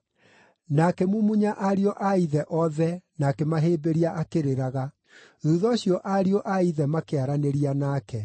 Na akĩmumunya ariũ a ithe othe na akĩmahĩmbĩria akĩrĩraga. Thuutha ũcio ariũ a ithe makĩaranĩria nake.